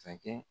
Sakɛ